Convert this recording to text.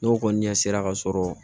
N'o kɔni ɲɛ sera ka sɔrɔ